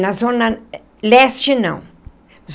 Na Zona Leste, não.